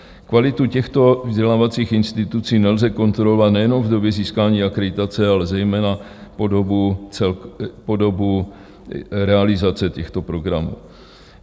Kvalitu těchto vzdělávacích institucí nelze kontrolovat nejenom v době získání akreditace, ale zejména po dobu realizace těchto programů.